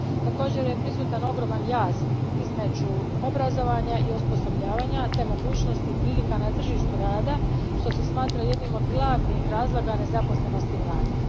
Također je prisutan ogroman jaz između obrazovanja i osposobljavanja te mogućnosti i prilika na tržištu rada, što se smatra jednim od glavnih razloga nezaposlenosti mladih.